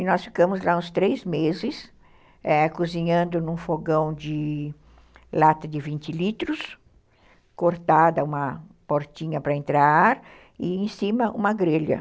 E nós ficamos lá uns três meses, cozinhando num fogão de lata de vinte litros, cortada uma portinha para entrar ar, e em cima uma grelha.